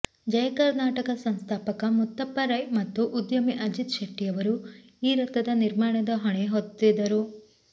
ಜಯ ಕರ್ನಾಟಕ ಸಂಸ್ಥಾಪಕ ಮುತ್ತಪ್ಪ ರೈ ಮತ್ತು ಉದ್ಯಮಿ ಅಜಿತ್ ಶೆಟ್ಟಿಯವರು ಈ ರಥದ ನಿರ್ಮಾಣದ ಹೊಣೆ ಹೊತ್ತಿದ್ದರು